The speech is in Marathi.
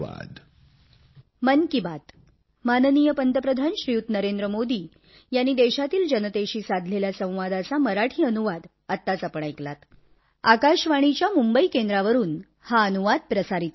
धन्यवाद